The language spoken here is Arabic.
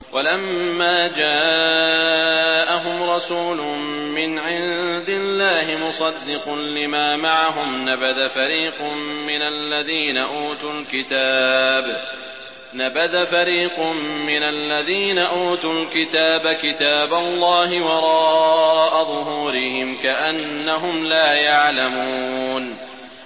وَلَمَّا جَاءَهُمْ رَسُولٌ مِّنْ عِندِ اللَّهِ مُصَدِّقٌ لِّمَا مَعَهُمْ نَبَذَ فَرِيقٌ مِّنَ الَّذِينَ أُوتُوا الْكِتَابَ كِتَابَ اللَّهِ وَرَاءَ ظُهُورِهِمْ كَأَنَّهُمْ لَا يَعْلَمُونَ